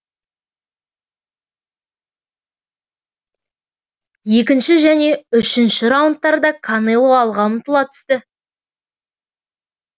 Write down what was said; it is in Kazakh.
екінші және үшінші раундтарда канело алға ұмтыла түсті